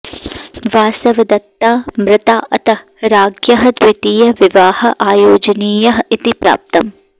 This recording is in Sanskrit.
वासवदत्ता मृता अतः राज्ञः द्वितीयः विवाहः आयोजनीयः इति प्राप्तम्